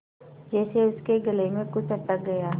जैसे उसके गले में कुछ अटक गया